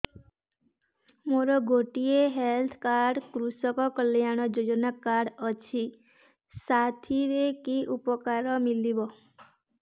ମୋର ଗୋଟିଏ health card କୃଷକ କଲ୍ୟାଣ ଯୋଜନା କାର୍ଡ ଅଛି ସାଥିରେ କି ଉପକାର ମିଳିବ